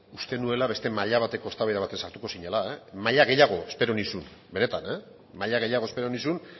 uste nuela beste maila bateko eztabaida batean sartuko zinela maila gehiago espero nizun benetan maila gehiago espero nizun